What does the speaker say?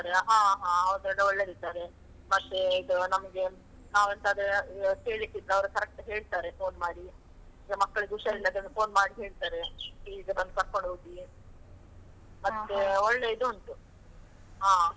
ಹಾ ಹಾ ಹೌದು ಎಲ್ಲ ಒಳ್ಳೆದಿದ್ದಾರೆ, ಮತ್ತೆ ಇದು ನಮ್ಗೆ ನಾವ್ ಎಂತಾದ್ರೂ ಕೇಳಿಕ್ಕಿದ್ರೆ ಅವರು correct ಹೇಳ್ತಾರೆ phone ಮಾಡಿ, ಈಗ ಮಕ್ಕಳಿಗೆ ಹುಷಾರಿಲ್ಲಾದ್ರೆ phone ಮಾಡಿ ಹೇಳ್ತಾರೆ ಈಗ ಬಂದು ಕರ್ಕೊಂಡೋಗಿ ಮತ್ತೆ ಒಳ್ಳೆ ಇದು ಉಂಟು ಹಾ.